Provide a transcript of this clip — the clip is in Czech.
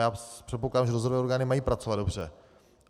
Já předpokládám, že dozorové orgány mají pracovat dobře.